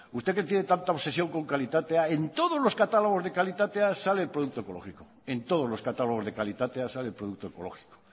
usted que tiene tanta obsesión con kalitatea en todos los catálogos de kalitatea sale el producto ecológico en todos los catálogos de kalitatea sale el producto ecológico